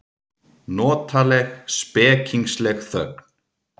Notaleg, spekingsleg þögn.